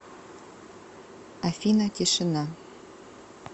афина тишина